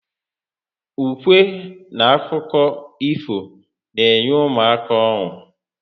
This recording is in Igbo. Ukwe n akụkọ ifo n'enye ụmụaka ọnu